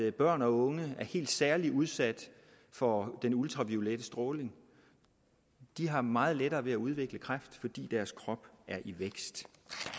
at børn og unge er helt særlig udsat for den ultraviolette stråling de har meget lettere ved at udvikle kræft fordi deres krop er i vækst